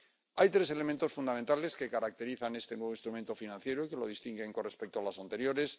Hay tres elementos fundamentales que caracterizan este nuevo instrumento financiero que lo distinguen con respecto a los anteriores.